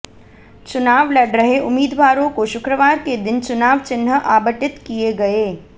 चुनाव लड़ रहे उम्मीदवारों को शुक्रवार के दिन चुनाव चिन्ह आबटित किए गए